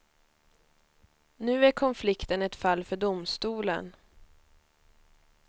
Nu är konflikten ett fall för domstolen.